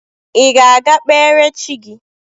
Ị ga-aga kpere chi gị?